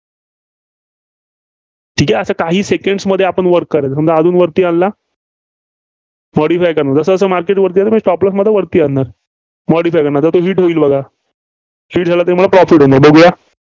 ठीक आहे. असं काही Seconds मध्ये आपण वर करू. समजा अजून वरती आणला. modify करणार. जसंजसं market वरती जाईल, मी Stop loss वरती आणणार. modify करणार. hit होईल बघा. hit झाला तर मला profit होणार. बघुया.